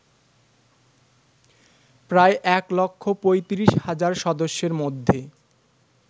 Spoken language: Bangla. প্রায় এক লক্ষ ৩৫ হাজার সদস্যের মধ্যে